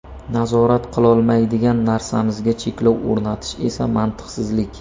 Nazorat qilolmaydigan narsamizga cheklov o‘rnatish esa mantiqsizlik.